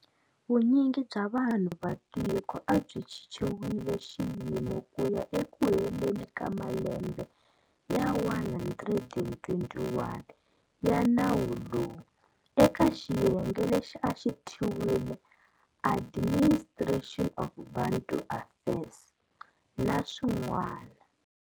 Vunyingi bya vanhu va tiko a byi chichiwile xiyimo ku ya ekuheleni ka malembe ya 121 ya nawu lowu, eka xiyenge lexi a xi thyiwile 'Admini stration of Bantu Affairs, na swin'wana.